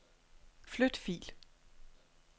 Flyt fil.